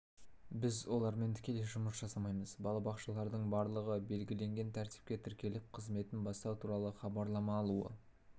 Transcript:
біз олармен тікелей жұмыс жасамаймыз балабақшалардың барлығы белгіленген тәртіпте тіркеліп қызметін бастау туралы хабарлама алуы